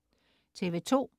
TV2: